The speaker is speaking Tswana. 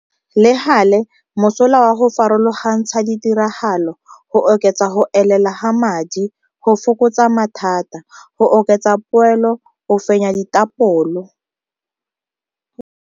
Le gale, mosola wa go farologantsha ditiragalo go oketsa go elela ga madi, go fokotsa mathata, go oketsa poelo o fenya dithapolo.